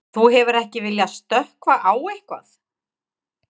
Þú hefur ekki viljað stökkva á eitthvað?